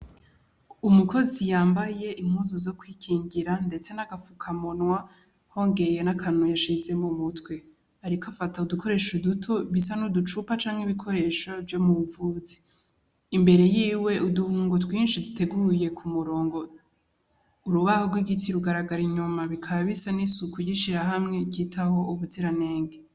Umukozi yambaye impunzu zokwikingira ndetse na gafukamunwa wongeye nakantu yashize mu mutwe , yariko akata udukoresho duto dusa n'uducupa canke ibikoresho vyo mumvuzi imbere yiwe uduhungo twinshi duteguye kumurongo, urubaho rw'igiti rugaragara inyuma bikaba bisa n'isuku ry'ishirahamwe ryitaho ubuziranenge.